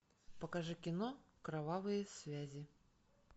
покажи кино кровавые связи